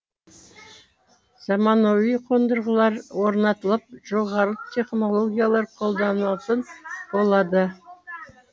заманауи қондырғылар орнатылып жоғары технологиялар қолданылатын болады